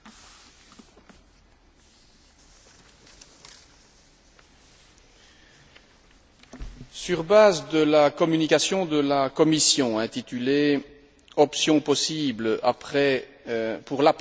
Sur la base de la communication de la Commission intitulée Options possibles pour l'après 2010 en ce qui concerne la perspective et les objectifs de l'Union européenne en matière de biodiversité,